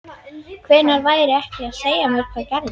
Hvernig væri að segja mér hvað gerðist?